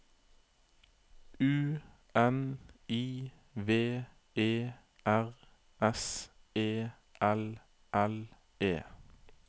U N I V E R S E L L E